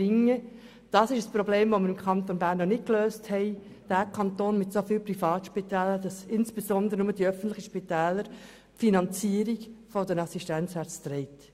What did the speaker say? Denn es ist ein Problem, welches wir im Kanton Bern noch nicht gelöst haben, dass in einem Kanton mit so vielen Privatspitälern nur die öffentlichen Spitäler die Finanzierung der Assistenzärzte tragen.